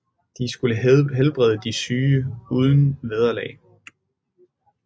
De skulle helbrede de syge uden vederlag